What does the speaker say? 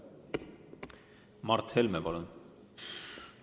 Mart Helme, palun!